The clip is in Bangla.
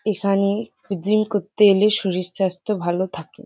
এখানে জিম করতে এলে শরীর স্বাস্থ্য ভালো থাকে।